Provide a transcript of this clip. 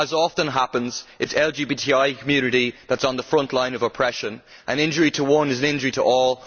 As often happens, it is the LGBTI community that is on the frontline of oppression, and injury to one is an injury to all.